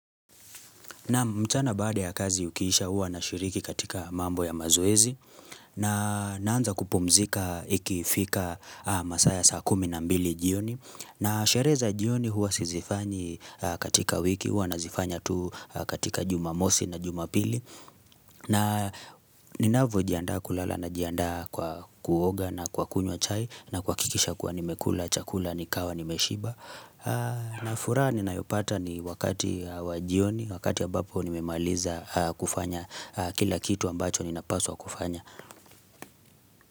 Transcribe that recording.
Na mchana baada ya kazi ukiisha huwa na shiriki katika mambo ya mazoezi na naanza kupumzika ikifika masaa ya saa kumi na mbili jioni. Na za shereza jioni huwa sizifanyi katika wiki huwa na zifanya tu katika jumamosi na jumapili. Na ninavyo jiandaa kulala najiandaa kwa kuoga na kwa kunywa chai na kwa kuhakikisha kuwa nimekula, chakula, nikawa, nimeshiba. Na furaha nina yopata ni wakati wajioni Wakati ya ambapo nimemaliza kufanya kila kitu ambacho nina paswa kufanya.